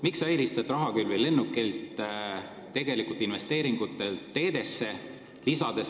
Miks sa eelistad lennukilt rahakülvi investeeringutele teedesse?